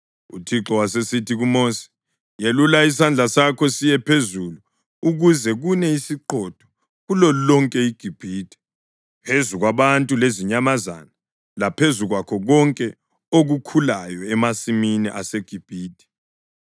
UThixo wasesithi kuMosi, “Yelula isandla sakho siye phezulu ukuze kune isiqhotho kulolonke iGibhithe, phezu kwabantu lezinyamazana laphezu kwakho konke okukhulayo emasimini aseGibhithe.”